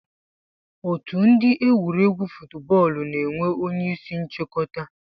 Otu ndi egwuregwu fuutbọọlụ na enwee onye isi nchikọta.